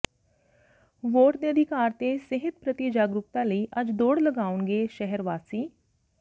vote ਦੇ ਅਧਿਕਾਰ ਤੇ ਸਿਹਤ ਪ੍ਰਤੀ ਜਾਗਰੂਕਤਾ ਲਈ ਅੱਜ ਦੌੜ ਲਗਾਉਣਗੇ ਸ਼ਹਿਰ ਵਾਸੀ